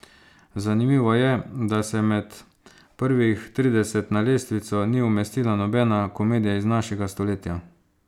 Zanimivo je, da se med prvih trideset na lestvico ni umestila nobena komedija iz našega stoletja.